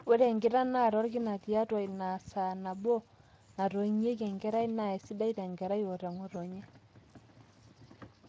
ore enkitanaata orkina tiatwa inasaa nabo natoinyieki enkerai naa sidai tenkerai o teng'otonye